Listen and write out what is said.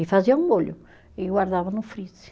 E fazia um molho e guardava no freezer.